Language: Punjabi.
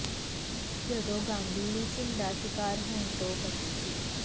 ਜਦੋਂ ਗਾਂਧੀ ਲਿੰਚਿੰਗ ਦਾ ਸ਼ਿਕਾਰ ਹੋਣ ਤੋਂ ਬਚੇ ਸੀ